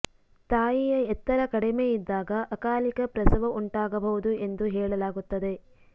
ತಾಯಿಯ ಎತ್ತರ ಕಡಿಮೆ ಇದ್ದಾಗ ಅಕಾಲಿಕ ಪ್ರಸವ ಉಂಟಾಗಬಹುದು ಎಂದು ಹೇಳಲಾಗುತ್ತದೆ